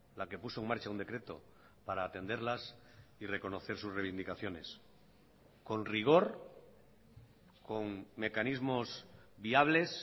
la que puso en marcha un decreto para atenderlas y reconocer sus reivindicaciones con rigor con mecanismos viables